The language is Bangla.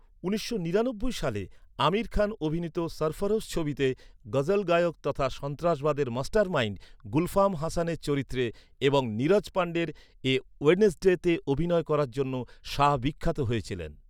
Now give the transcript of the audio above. উনিশশো নিরানব্বই সালে আমির খান অভিনীত ‘সরফরোশ’ ছবিতে গজল গায়ক তথা সন্ত্রাসবাদের মাস্টারমাইন্ড গুলফাম হাসানের চরিত্রে এবং নীরজ পান্ডের এ ওয়েডনেসডেতে অভিনয় করার জন্য শাহ বিখ্যাত হয়েছিলেন।